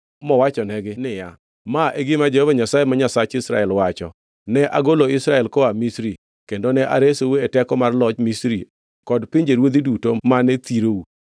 mowachonegi niya, “Ma e gima Jehova Nyasaye ma Nyasach Israel wacho: ‘Ne agolo Israel koa Misri, kendo ne aresou e teko mar loch Misri kod pinjeruodhi duto mane thirou.’